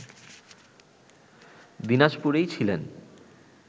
দিনাজপুরেই ছিলেন